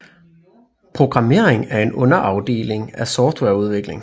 Programmering er en underafdeling af softwareudvikling